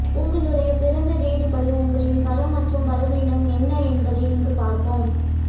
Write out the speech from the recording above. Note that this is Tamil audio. உங்களுடைய பிறந்த தேதிப்படி உங்களின் பலம் மற்றும் பலவீனம் என்ன என்பதை இங்கு பார்ப்போம்